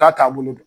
K'a taabolo don